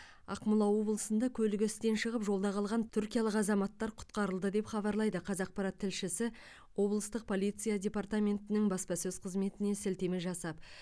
ақмола облысында көлігі істен шығып жолда қалған түркиялық азаматты құтқарылды деп хабарлайды қазақпарат тілшісі облыстық полиция департаментінің баспасөз қызметіне сілтеме жасап